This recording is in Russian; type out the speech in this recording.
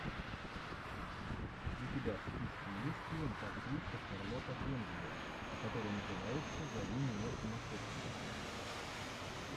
у тебя в списке есть лента актриса шарлотта генсбур которая называется зови меня сумасшедшим